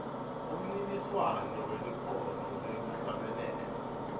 umncintiswano welikhono lekuhlabelela